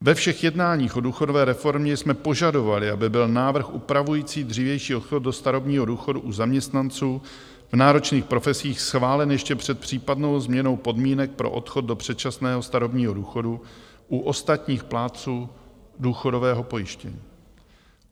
Ve všech jednáních o důchodové reformě jsme požadovali, aby byl návrh upravující dřívější odchod do starobního důchodu u zaměstnanců v náročných profesích schválen ještě před případnou změnou podmínek pro odchod do předčasného starobního důchodu u ostatních plátců důchodového pojištění.